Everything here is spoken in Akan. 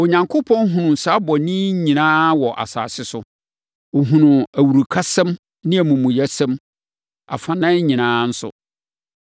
Onyankopɔn hunuu saa bɔne yi nyinaa wɔ asase so, hunuu awurukasɛm ne amumuyɛsɛm, afanan nyinaa nso.